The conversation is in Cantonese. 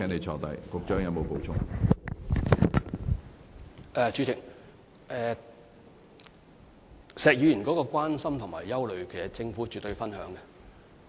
主席，對於石議員的關心和憂慮，政府絕對有同感。